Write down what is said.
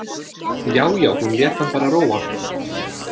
Já, já, hún lét hann bara róa!